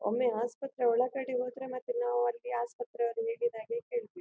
ಒಮ್ಮೆ ಆಸ್ಪತ್ರೆ ಒಳಗಡೆ ಹೋದ್ರೆ ಮತ್ತೆ ನಾವು ಅಲ್ಲಿ ಆಸ್ಪತ್ರೆ ಹೇಗಿದಾಗೆ ಕೇಳ್ಬೇಕು.